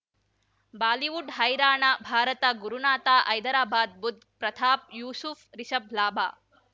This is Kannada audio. ಬಾಲಿವುಡ್ ಹೈರಾಣ ಭಾರತ ಗುರುನಾಥ ಹೈದರಾಬಾದ್ ಬುಧ್ ಪ್ರತಾಪ್ ಯೂಸುಫ್ ರಿಷಬ್ ಲಾಭ